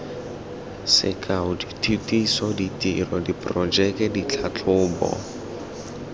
sekao dithutiso ditiro diporojeke ditlhatlhobo